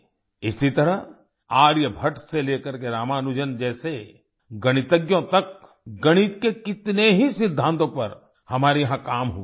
इसी तरह आर्यभट्ट से लेकर रामानुजन जैसे गणितज्ञों तक गणित के कितने ही सिद्धांतों पर हमारे यहाँ काम हुआ है